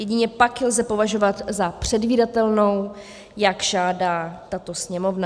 Jedině pak ji lze považovat za předvídatelnou, jak žádá tato Sněmovna.